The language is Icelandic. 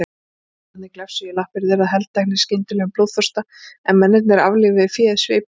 Hundarnir glefsuðu í lappir þeirra, helteknir skyndilegum blóðþorsta, en mennirnir aflífuðu féð sviplausir.